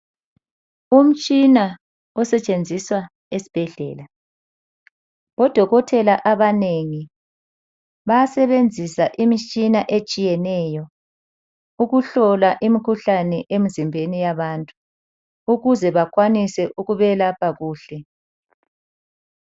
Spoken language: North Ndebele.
Umtshina osetshenziswa esibhedlela. Odokotela abanengi bayasebenzisa imitshina etshiyeneyo ukuhlola imikhuhlane emizimbeni yabantu ukuze benelise ukubelapha kuhle.